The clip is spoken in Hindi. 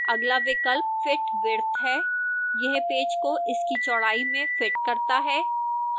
अगला विकल्प fit width है यह पेज को इसकी चौड़ाई में fit करता है